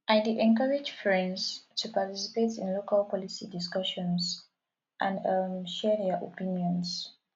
i dey encourage friends to participate in local policy discussions and um share their opinions